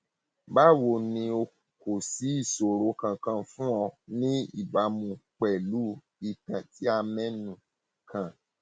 báwo ni o kò sí ìṣòro kankan fún ọ ní ìbámu pẹlú ìtàn tí a mẹnu kàn